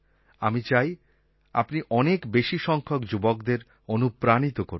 আমি চাই আপনি অনেক বেশি সংখ্যক যুবকদের অনুপ্রাণিত করুন